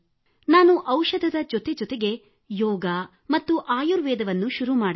ನಾನು ಔಷಧದ ಜತೆ ಜತೆಗೇ ಯೋಗ ಪ್ರಾಣಾಯಾಮ ಆಯುರ್ವೇದವನ್ನೂ ಶುರು ಮಾಡಿದೆ